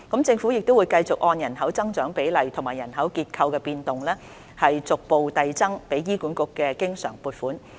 政府會繼續按人口增長比例和人口結構變動，逐步遞增給予醫管局的經常撥款。